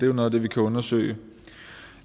jo noget af det vi kan undersøge